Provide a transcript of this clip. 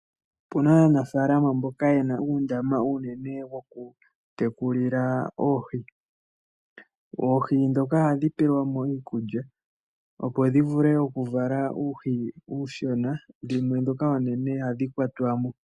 Opuna aanafaalama mboka yena uundama uunene woku tekulila oohi. Oohi dhoka ohadhi pewa mo iikulya opo dhi vule oku vala uuhi uushona. Dhimwe dhoka oonene ohadhi kwatwa mo.